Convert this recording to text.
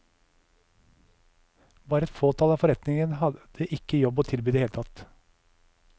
Bare et fåtall av forretningene hadde ikke jobb å tilby i det hele tatt.